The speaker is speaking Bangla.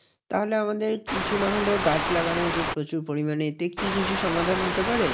তাহলে আমাদের কিছু না হলেও গাছ লাগানো উচিত প্রচুর পরিমানে। এতে কি কিছু সমাধান হতে পারে?